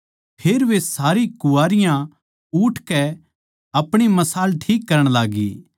फेर वे सारी कुँवारियाँ उठकै अपणी मशाल ठीक करण लाग्गी